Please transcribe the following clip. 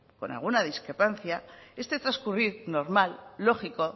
con alguna discrepancia este transcurrir normal lógico